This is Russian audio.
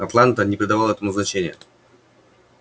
атланта не придавала этому значения